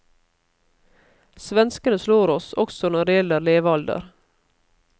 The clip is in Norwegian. Svenskene slår oss også når det gjelder levealder.